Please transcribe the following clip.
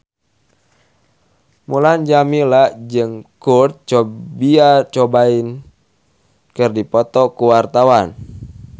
Mulan Jameela jeung Kurt Cobain keur dipoto ku wartawan